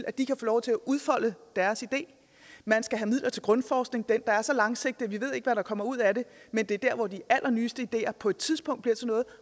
at de kan få lov til at udfolde deres idé man skal have midler til grundforskning den der er så langsigtet at ikke hvad der kommer ud af den men det er der hvor de allernyeste ideer på et tidspunkt bliver til noget